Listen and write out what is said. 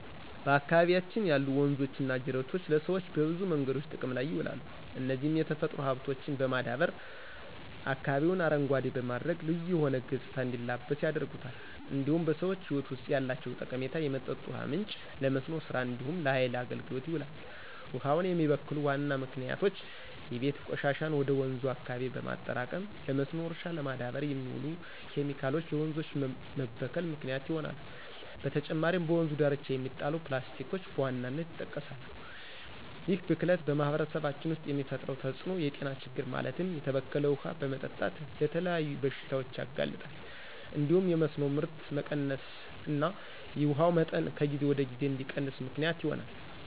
በአካባቢያችን ያሉ ወንዞችና ጅረቶች ለሰዎች በብዙ መንገዶች ጥቅም ላይ ይውላሉ፣ እነዚህም የተፈጥሮ ሀብቶችን በማዳበር አካባቢውን አረንጓዴ በማድረግ ልዩ የሆነ ገፅታ እንዲላበስ ያደርጉታል። እንዲሁም በሰዎች ህይወት ውስጥ ያላቸው ጠቀሜታ የመጠጥ ውሃ ምንጭ፣ ለመስኖ ስራ እንዲሁም ለሃይል አገልግሎት ይውላል። ውሃውን የሚበክሉ ዋና ምክንያቶች የቤት ቆሻሻን ወደ ወንዙ አካባቢ በማጠራቀም፣ ለመስኖ እርሻ ለማዳበር የሚውሉ ኬሚካሎች ለወንዞች መበከል ምክንያት ይሆናሉ። በተጨማሪም በወንዙ ዳርቻ የሚጣሉ ፕላስቲኮችን በዋናነት ይጠቀሳሉ። ይህ ብክለት በማህበረሰባችን ውስጥ የሚፈጥረው ተፅዕኖ የጤና ችግር ማለትም የተበከለ ውሃ በመጠጣት ለተለያዩ በሽታዎች ያጋልጣል እንዲሁም የመስኖ ምርት መቀነስና የውሃው መጠን ከጊዜ ወደ ጊዜ እንዲቀንስ ምክንያት ይሆናል።